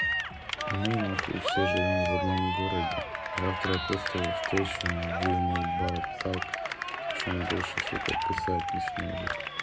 мы нахуй все живём в одном городе завтра я просто его встречу и набью ему ебало так что он больше сука писать не сможет